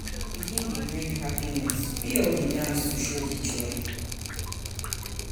Pikin don bring happiness, we all dey dance to show di joy.